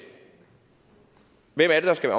hvem er det der skal